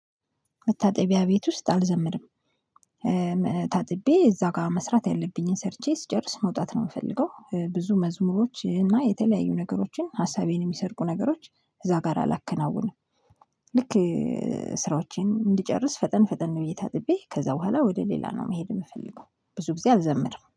መታጠቢያ ቤት ውስጥ አልዘምርም። ታጥቤ እዛ ጋር መስራት ያለብኝን ሰርቼ ስጨርስ መውጣት ነው የምፈልገው ብዙ መዝሙሮች እና የተለያዩ ነገሮችን ሀሳቤን የሚሰርቁ ነገሮች እዛ ጋር አላከናውንም። ልክ ስራዎቼን እንድጨርስ ፈጠን ፈጠን ብዬ ታጥቤ ከዛ በኋላ ወደ ሌላ ነው መሄድ የምፈልገው። ብዙ ጊዜ አልዘምርም